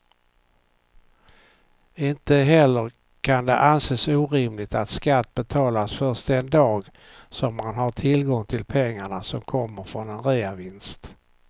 Inte heller kan det anses orimligt att skatt betalas först den dag som man har tillgång till pengarna som kommer från en reavinst.